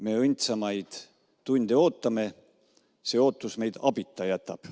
Me õndsamaid tunde ootame, see ootus meid abita jätab.